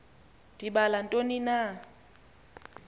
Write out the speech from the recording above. ndibala ntoni na